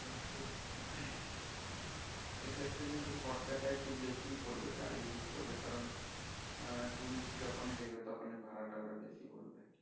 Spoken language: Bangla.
সেক্ষেত্রে খরচ টা কিন্তু একটু বেশীই পড়বে গাড়ী book করলে কারন হম tourist যখনি দেখবে তখনই ভাড়াটা ওরা বেশী বলবে